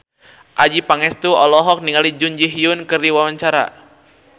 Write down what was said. Adjie Pangestu olohok ningali Jun Ji Hyun keur diwawancara